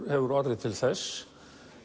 hefur orðið til þess